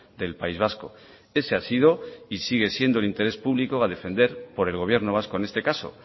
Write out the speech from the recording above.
del país vasco ese ha sido y sigue siendo el interés público a defender por el gobierno vasco en este caso